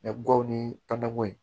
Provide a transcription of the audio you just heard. Mɛ gawo ni tanakoyi